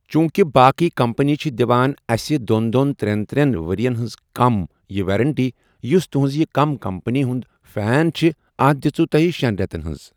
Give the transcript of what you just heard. چوٗنٛکہ باقٕے کَمپٔنی چھِ دِوان اَسہِ دوٚن دوٚن ترٛیَٚن ترٛیٚن ؤرۍ یَن ہٕنٛز کَم یہِ ویرَنٹی یُس تُہٕنٛز یہِ کَم کَمپٔنی ہٕنٛز فین چھِ اَتھ دِژوُ تُۄہہ شیٚن رٮ۪تَن ہنٛز۔